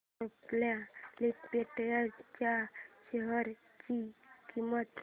Cipla limited च्या share ची किंमत